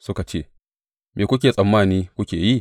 Suka ce, Me kuke tsammani kuke yi?